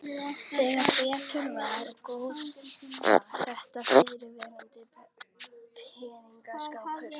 Þegar betur var að gáð var þetta fyrrverandi peningaskápur.